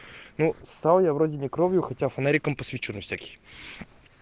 ну ссал я вроде не кровью хотя фонариком посвечу на всякий